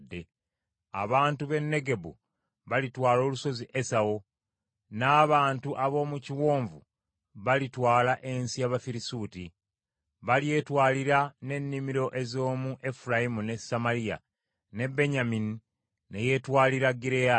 “Abantu b’e Negebu balitwala olusozi Esawu, n’abantu ab’omu biwonvu balitwala ensi y’Abafirisuuti. Balyetwalira n’ennimiro ez’omu Efulayimu ne Samaliya, ne Benyamini ne yeetwalira Gireyaadi.